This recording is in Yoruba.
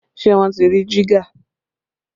Ṣé wọ́n ti rí jígà?